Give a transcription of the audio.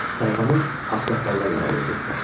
Tayfanı ağsaqqallar idarə edirdilər.